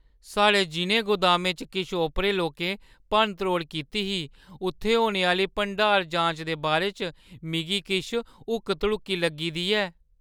साढ़े जिʼनें गोदामें च किश ओपरे लोकें भन्न-त्रोड़ कीती ही उत्थै होने आह्‌ली भंडार-जांच दे बारे च मिगी किश हुक्क-धड़ुक्की लग्गी दी ऐ।